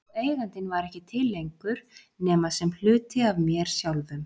Og Eigandinn var ekki til lengur nema sem hluti af mér sjálfum.